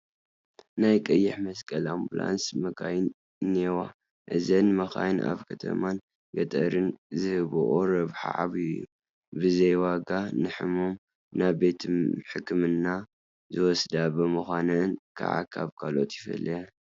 ናይ ቀይሕ መስቀል ኣምቡላንስ መኻይን እኔዋ፡፡ እዘን መኻይን ኣብ ከተማን ገጠርን ዝህብኦ ረብሓ ዓብዪ እዩ፡፡ ብዘይዋጋ ንሕሙም ናብ ቤት ሕክምና ዝወስዳ ብምዃነን ከዓ ካብ ካልኦት ይፍለያ፡፡